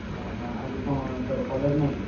ଅହ ଆଜି କଣ ତୋର college ନାହି?